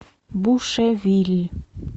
бушевилль